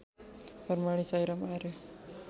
प्रणामी Sairam आर्य